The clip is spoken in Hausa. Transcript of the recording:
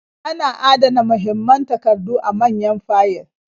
Ana adana mahimman takardu a manyan fayil.